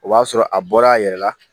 O b'a sɔrɔ a bɔla a yɛrɛ la